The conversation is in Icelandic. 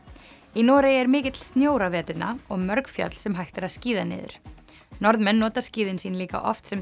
í Noregi er mikill snjór á veturna og mörg fjöll sem hægt er að skíða niður Norðmenn nota skíðin sín líka oft sem